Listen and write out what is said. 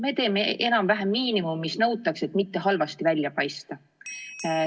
Me teeme enam-vähem miinimumi, mis nõutakse, et mitte halvasti välja paista.